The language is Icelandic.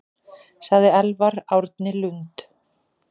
Sagði Elvar Árni Lund.